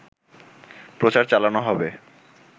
প্রচার চালানো হবে